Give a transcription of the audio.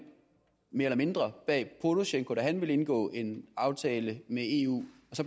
mere eller mindre bag porosjenko da han ville indgå en aftale med eu